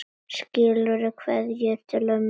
Skilaðu kveðju til ömmu þinnar.